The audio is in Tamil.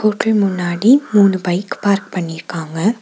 ஹோட்டல் முன்னாடி மூணு பைக் பார்க் பண்ணிருக்காங்க.